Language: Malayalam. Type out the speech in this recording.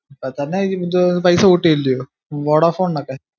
ഇപ്പൊ തന്നെ പൈസ കൂട്ടിയില്ല്യോ വൊഡാഫോൺനോക്കെ